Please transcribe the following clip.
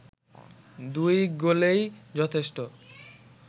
দুই গোলেই যথেষ্ট